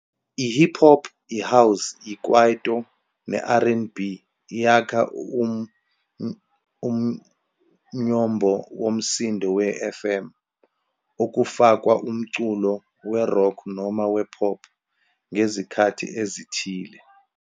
I-Hip-Hop, i-house, ikwaito, ne-R and B yakha umnyombo womsindo we-YFM, okufakwa umculo we-rock noma we-pop ngezikhathi ezithile.